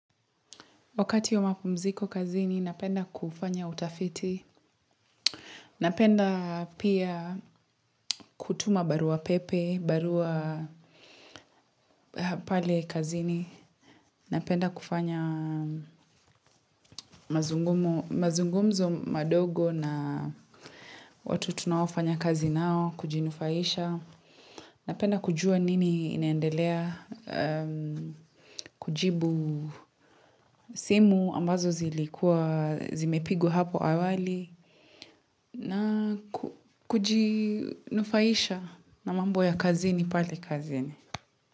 Wakati wa mapumziko kazini, napenda kufanya utafiti. Napenda pia kutuma barua pepe, barua pale kazini. Napenda kufanya mazungumzo madogo na watu tunawafanya kazi nao, kujinufaisha. Napenda kujua nini inendelea, kujibu simu ambazo zilikuwa, zimepigwa hapo awali. Na kujinufaisha na mambo ya kazini, pale kazini.